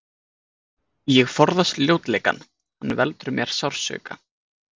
Ég forðast ljótleikann, hann veldur mér sársauka.